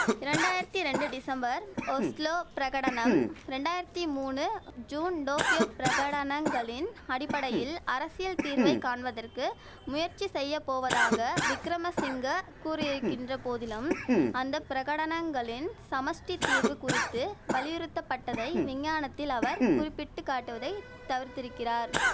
இரண்டாயிரத்தி ரெண்டு December Oslo பிரகடனம் ரெண்டாயிரத்தி மூனு ஜூன் டோக்கியோ பிரகடனங்களின் அடிப்படையில் அரசியல் தீர்வை காண்பதற்கு முயற்சி செய்ய போவதாக விக்கிரமசிங்க கூறியிருக்கின்ற போதிலும் அந்த பிரகடனங்களின் சமஷ்டித் தீர்வு குறித்து வலியுறுத்தப்பட்டதை விஞ்ஞானத்தில் அவர் குறிப்பிட்டுக் காட்டுவதை தவிர்த்திருக்கிறார்